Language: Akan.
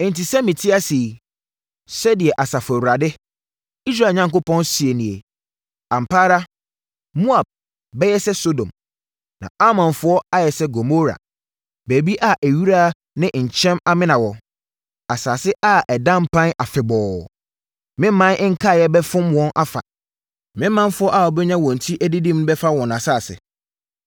Enti, sɛ mete ase yi,” sɛdeɛ Asafo Awurade, Israel Onyankopɔn, seɛ nie, “Ampa ara Moab bɛyɛ sɛ Sodom, na Amonfoɔ ayɛ sɛ Gomora, baabi a ewira ne nkyɛn amena wɔ, asase a ɛda mpan afebɔɔ. Me ɔman nkaeɛ bɛfom wɔn afa; me manfoɔ a wɔbɛnya wɔn ti adidim bɛfa wɔn asase.”